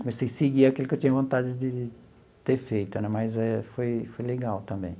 Comecei a seguir aquilo que eu tinha vontade de ter feito, mas eh foi foi legal também.